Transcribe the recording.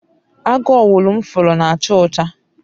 agu owulu m furu na acha ocha